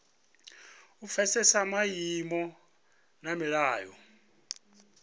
u pfesesa maimo na milayo